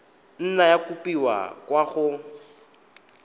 nna ya kopiwa kwa go